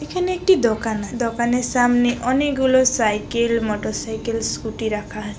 এখানে একটি দোকান আছে। দোকানের সামনে অনেক গুলো সাইকেল মোটরসাইকেল স্কুটি রাখা আছে।